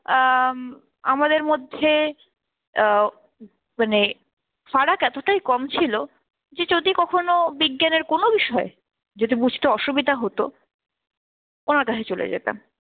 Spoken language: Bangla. আ উম আমাদের মধ্যে আহ মানে ফারাক এতটাই কম ছিল যে যদি কখনো বিজ্ঞানের কোন বিষয় যদি বুঝতে অসুবিধা হতো, ওনার কাছে চলে যেতাম।